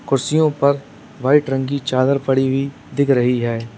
कुर्सियों पर वाइट रंग की चादर पड़ी हुई दिख रही है।